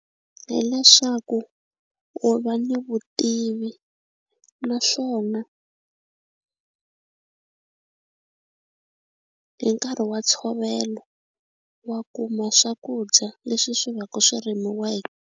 Hi leswaku u va ni vutivi naswona hi nkarhi wa ntshovelo wa kuma swakudya leswi swi va ku swi .